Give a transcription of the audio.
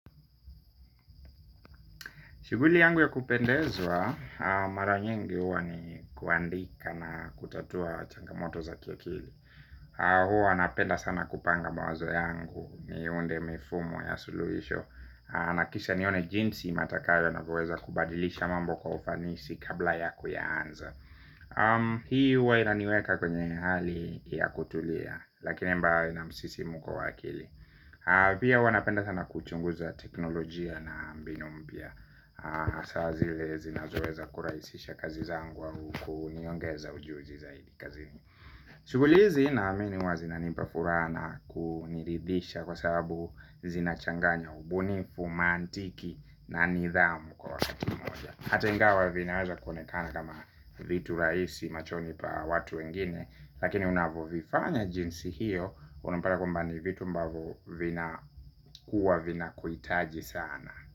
Shughuli yangu ya kupendezwa mara nyingi huwa ni kuandika na kutatua changamoto za kia kili. Huwa napenda sana kupanga mawazo yangu niunde mifumo ya suluhisho. Na kisha nione jinsi matakayo na kueza kubadilisha mambo kwa ufanisi kabla ya kuyaanza. Hii huwa inaniweka kwenye hali ya kutulia, lakini ambayo ina msisimko wa akili. Pia huwa napenda sana kuchunguza teknolojia na mbinu mpya. Hasa zile zinazoweza kurahisisha kazi zangu au kuniongeza ujuzi zaidi kazini. Shughuli hizi naamini huwa zina nipa furaha na kuniridhisha kwa sababu zinachanganya ubunifu, maantiki na nidhamu kwa wakati mmoja hata ingawa vinaweza kuonekana kama vitu rahisi machoni pa watu wengine lakini unavovifanya jinsi hiyo. Unupata kwamba ni vitu ambavyo vina kuwa vina kuhitaji sana.